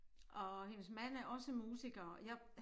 Og hendes mand er også musiker jeg